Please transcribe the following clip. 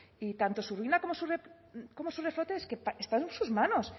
y tanto su ruina como su reflote es que está en sus manos